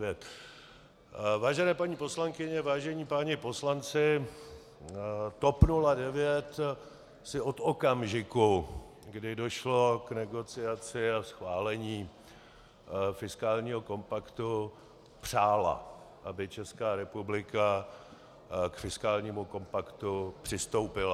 Vážené paní poslankyně, vážení páni poslanci, TOP 09 si od okamžiku, kdy došlo k negociaci a schválení fiskálního kompaktu, přála, aby Česká republika k fiskálnímu kompaktu přistoupila.